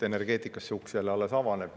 Energeetikas see uks alles avaneb.